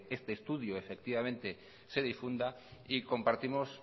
este estudio efectivamente se difunda y compartimos